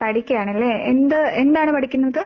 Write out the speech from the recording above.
പഠിക്കാണ്ല്ലേ? എന്ത് എന്താണ് പഠിക്കുന്നത്?